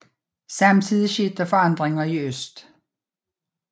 Samtidig skete der større forandringer i øst